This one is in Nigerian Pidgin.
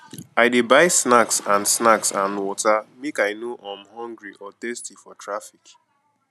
i dey buy snacks and snacks and water make i no um hungry or thirsty for traffic